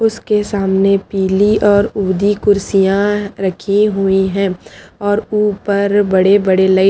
उसके सामने पिली और उधि कुड्सिया रखी हुई है और उपर बड़े बड़े लाइट --